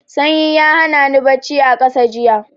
Sanyi ya hana ni bacci a ƙasa jiya.